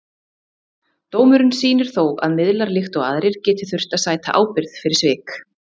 Dómurinn sýnir þó að miðlar, líkt og aðrir, geta þurft að sæta ábyrgð fyrir svik.